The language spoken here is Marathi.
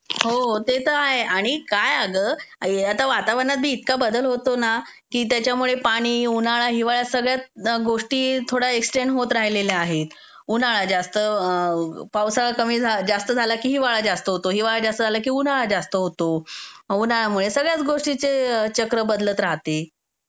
हो, ते तर आहे आणि काय अगं वातावरणात बी इतका बदल होतो ना की त्याच्यामुळे पाणी, उन्हाळा, हिवाळा सगळ्या गोष्टी थोड्या एक्सटेंड होत राहिलेल्या आहेत. उन्हाळा जास्त -- पावसाळा कमी -- जास्त झाला की हिवाळा जास्त होतो, हिवाळा जास्त झाला की उन्हाळा जास्त होतो. उन्हाळ्यामुळे सगळ्याच गोष्टीचे चक्र बदलत राहते.